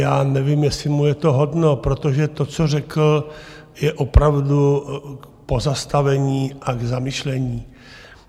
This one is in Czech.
Já nevím, jestli mu je to hodno, protože to, co řekl, je opravdu k pozastavení a k zamyšlení.